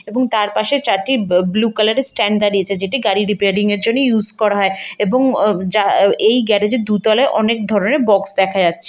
এবং তার পাশে চারটি ব ব্লু কালার -এর স্ট্যান্ড দাঁড়িয়েছে যেটি গাড়ি রিপেয়ারিং -এর জন্য ইউজ করা হয় এবং আ যা এই গ্যারেজ -এর দু তলায় অনেক ধরনের বক্স দেখা যাচ্ছে।